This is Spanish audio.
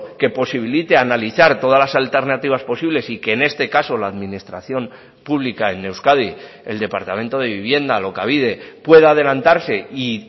que posibilite analizar todas las alternativas posibles y que en este caso la administración pública en euskadi el departamento de vivienda alokabide pueda adelantarse y